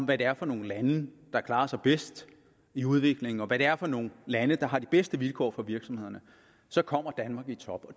det er for nogle lande der klarer sig bedst i udviklingen og hvad det er for nogle lande der har de bedste vilkår for deres virksomheder så kommer danmark i top